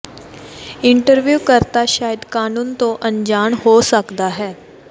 interview ਕਰਤਾ ਸ਼ਾਇਦ ਕਾਨੂੰਨ ਤੋਂ ਅਣਜਾਣ ਹੋ ਸਕਦਾ ਹੈ